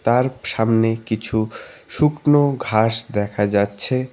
আর সামনে কিছু শুকনো ঘাস দেখা যাচ্ছে।